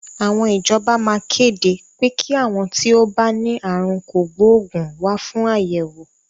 Àwọn ìjọba maa kéde pé kí àwọn tí ó bá ní àrùn kògbóògùn wá fún àyẹ̀wò.